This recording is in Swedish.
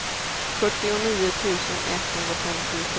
fyrtionio tusen etthundrafemtiosju